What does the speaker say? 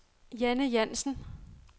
Janne Jansen